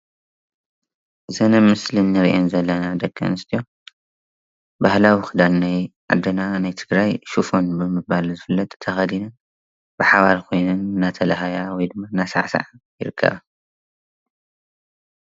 እዘን ኣብ ምስሊ እንሪኣን ዘለና ደቂ ኣንስትዮ ባህላዊ ክዳን ናይ ዓድና ናይ ትግራይ ሽፎን ብምባል ዝፍለጥ ተከዲነ በሓባር ኮነን እንዳተላሃያ ወይከዓ እንዳሳዓሳዓ ይርከባ፡፡